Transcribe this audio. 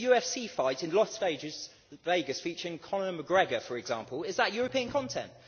A UFC fight in Las Vegas featuring Conor McGregor, for example, is that European content?